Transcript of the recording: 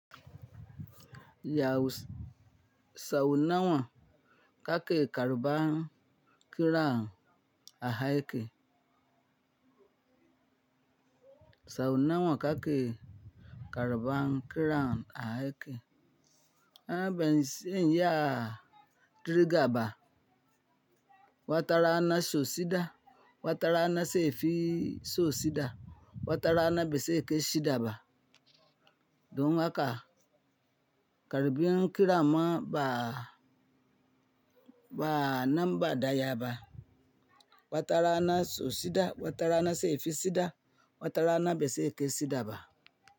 Yahu saunawa ka ke karɓan kira a haiki. Saunawa ka ke karuban kira a haike. An bens en ya diriga ba. Wa tara ana so sida, wata rana seifi so sida, wata rana baze kai shida ba. Don haka karubin kira ma ba, ba nan ba da yaba. Wa tara ana so sida, wa tara ana seifi sida, wa tara ana bese ke shida ba.